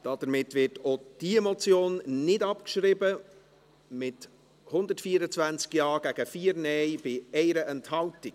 Damit wird auch diese Motion nicht abgeschrieben, mit 124 Ja- gegen 4 Nein-Stimmen bei 1 Enthaltung.